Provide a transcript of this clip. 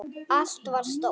Allt var stórt.